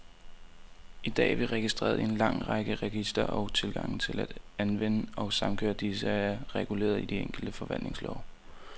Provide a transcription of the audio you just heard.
I dag er vi registreret i en lang række registre, og tilgangen til at anvende og samkøre disse, er reguleret i de enkelte forvaltningslove.